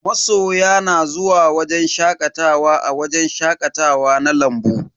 Masoya na zuwa shakatawa a wajen shakatawa na lambu.